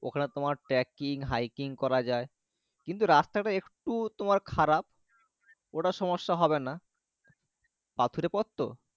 ওখানে তোমার tacking hiking করা যাই কিন্তু তোমার রাস্তা টা একটু খারাপ ওটার সমস্যা হবে না পাথর এর পথ তো।